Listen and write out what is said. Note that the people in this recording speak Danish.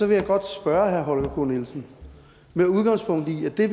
vil jeg godt spørge herre holger k nielsen med udgangspunkt i det